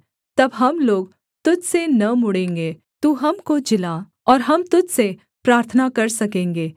तब हम लोग तुझ से न मुड़ेंगे तू हमको जिला और हम तुझ से प्रार्थना कर सकेंगे